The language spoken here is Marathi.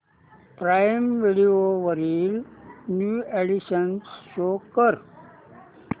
प्राईम व्हिडिओ वरील न्यू अॅडीशन्स शो कर